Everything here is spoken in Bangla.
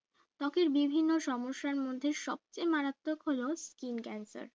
ত্বকের বিভিন্ন সমস্যার মধ্যে সবচেয়ে মারাত্মক হল skin cancer